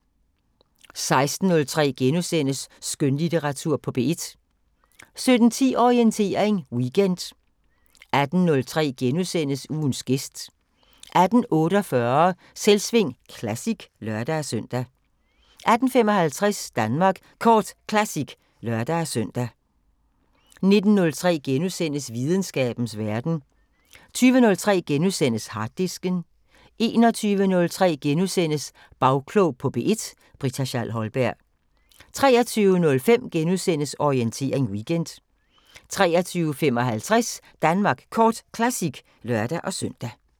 16:03: Skønlitteratur på P1 * 17:10: Orientering Weekend 18:03: Ugens gæst * 18:48: Selvsving Classic (lør-søn) 18:55: Danmark Kort Classic (lør-søn) 19:03: Videnskabens Verden * 20:03: Harddisken * 21:03: Bagklog på P1: Britta Schall Holberg * 23:05: Orientering Weekend * 23:55: Danmark Kort Classic (lør-søn)